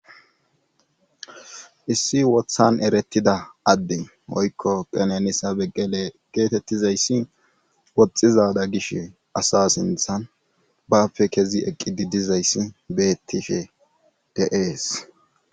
Issi wothan eretida adde oykko qenenisa beggele geetettizayssi woxxizada gish asa sinthan bapfe kezi eqqidi dizayssi beettife de'ees.